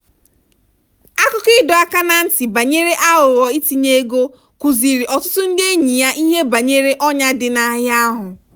akụkọ ịdọ aka ná ntị ya banyere aghụghọ itinye ego kụziiri ọtụtụ ndị enyi ya ihe banyere ọnyà dị n'ahịa ahụ.